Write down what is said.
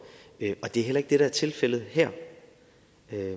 det er heller ikke det der er tilfældet her